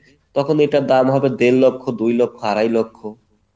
তখন এটার দাম হবে দেড় লক্ষ দুই লক্ষ আড়াই লক্ষ।